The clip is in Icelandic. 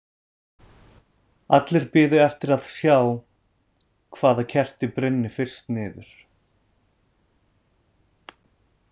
Allir biðu eftir að sjá hvaða kerti brynni fyrst niður.